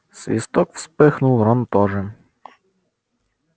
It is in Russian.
свисток вспыхнул рон тоже